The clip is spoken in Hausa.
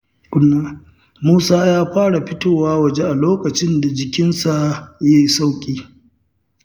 Musa ya fara fitowa waje a lokacin da jikinsa ya yi sauƙi.